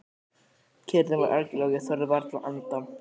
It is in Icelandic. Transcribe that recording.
Kyrrðin var algjör og ég þorði varla að anda.